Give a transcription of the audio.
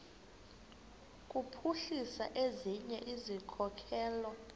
kuphuhlisa ezinye izikhokelo